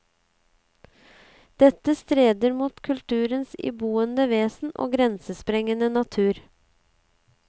Dette strider mot kulturens iboende vesen og grensesprengende natur.